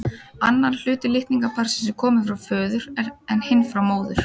Annar hluti litningaparsins er kominn frá föður en hinn frá móður.